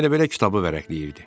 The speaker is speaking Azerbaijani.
Elə bilə kitabı vərəqləyirdi.